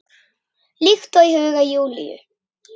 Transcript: Líkt og í huga Júlíu.